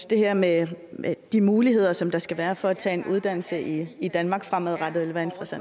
det her med de muligheder som der skal være for at tage en uddannelse i danmark fremadrettet